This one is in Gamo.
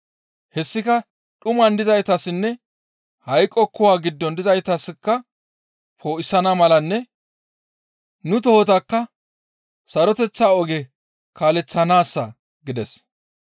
Hessika dhuman dizaytassinne hayqo kuwa giddon dizaytaska poo7isana malanne nu tohotakka saroteththa oge kaaleththanaassa» gides.